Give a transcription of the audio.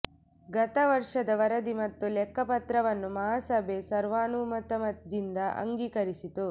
ಗತ ವರ್ಷದ ವರದಿ ಮತ್ತು ಲೆಕ್ಕ ಪತ್ರವನ್ನು ಮಹಾಸಭೆ ಸರ್ವಾನುಮತದಿಂದ ಅಂಗೀಕರಿಸಿತು